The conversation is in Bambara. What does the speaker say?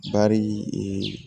Bari